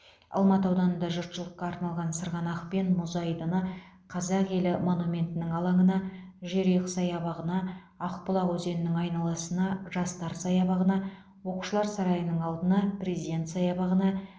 алматы ауданында жұртшылыққа арналған сырғанақ пен мұз айдыны қазақ елі монументінің алаңына жерұйық саябағына ақбұлақ өзенінің айналасына жастар саябағына оқушылар сарайының алдына президент саябағына